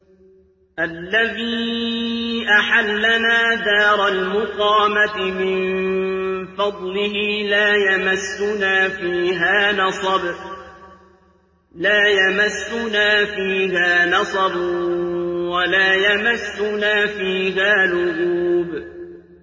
الَّذِي أَحَلَّنَا دَارَ الْمُقَامَةِ مِن فَضْلِهِ لَا يَمَسُّنَا فِيهَا نَصَبٌ وَلَا يَمَسُّنَا فِيهَا لُغُوبٌ